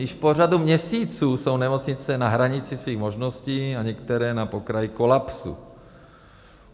Již po řadu měsíců jsou nemocnice na hranici svých možností a některé na pokraji kolapsu.